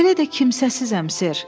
Belə də kimsəsizam, Sir.